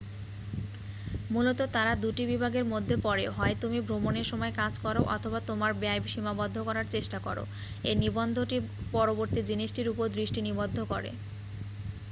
মূলত তাঁরা দুটি বিভাগের মধ্যে পড়েঃ হয় তুমি ভ্রমনের সময় কাজ করো অথবা তোমার ব্যয় সীমাবদ্ধ করার চেষ্টা করো এই নিবন্ধটি পরবর্তী জিনিসটির উপর দৃষ্টি নিবদ্ধ করে